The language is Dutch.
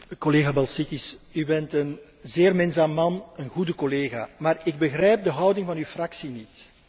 Collega Balčytis, u bent een zeer minzaam man en een goede collega, maar ik begrijp de houding van uw fractie niet.